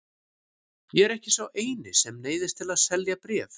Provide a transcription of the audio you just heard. Ég er ekki sá eini sem neyðist til að selja bréf.